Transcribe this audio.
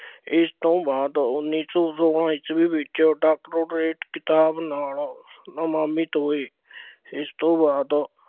ਇਸ ਤੋਂ ਬਾਅਦ ਉੱਨੀ ਸੌ ਸੋਲਾਂ ਈਸਵੀ ਵਿੱਚ doctorate ਖਿਤਾਬ ਨਾਲ ਹੋਏ। ਇਸ ਤੋਂ ਬਾਅਦ